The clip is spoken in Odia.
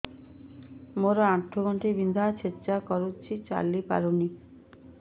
ମୋର ଆଣ୍ଠୁ ଗଣ୍ଠି ବିନ୍ଧା ଛେଚା କରୁଛି ଚାଲି ପାରୁନି